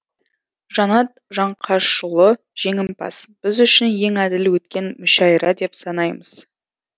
жанат жаңқашұлы жеңімпаз біз үшін ең әділ өткен мүшәйра деп санаймыз